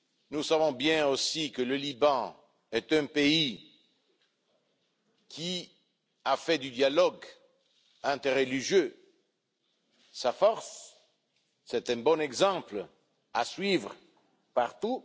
Nous savons bien aussi que le Liban est un pays qui a fait du dialogue interreligieux sa force, c'est un bon exemple à suivre partout.